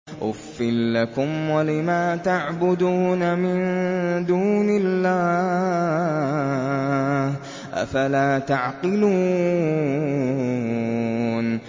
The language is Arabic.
أُفٍّ لَّكُمْ وَلِمَا تَعْبُدُونَ مِن دُونِ اللَّهِ ۖ أَفَلَا تَعْقِلُونَ